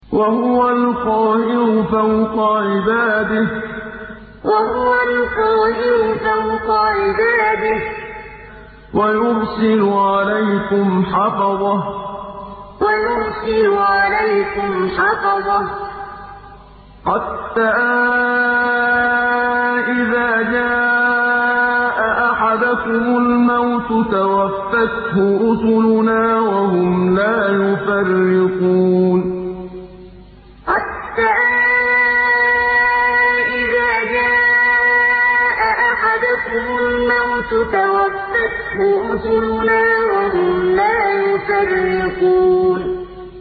وَهُوَ الْقَاهِرُ فَوْقَ عِبَادِهِ ۖ وَيُرْسِلُ عَلَيْكُمْ حَفَظَةً حَتَّىٰ إِذَا جَاءَ أَحَدَكُمُ الْمَوْتُ تَوَفَّتْهُ رُسُلُنَا وَهُمْ لَا يُفَرِّطُونَ وَهُوَ الْقَاهِرُ فَوْقَ عِبَادِهِ ۖ وَيُرْسِلُ عَلَيْكُمْ حَفَظَةً حَتَّىٰ إِذَا جَاءَ أَحَدَكُمُ الْمَوْتُ تَوَفَّتْهُ رُسُلُنَا وَهُمْ لَا يُفَرِّطُونَ